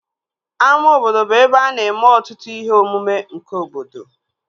Ama obodo bụ ebe a na-eme ọtụtụ ihe omume nke obodo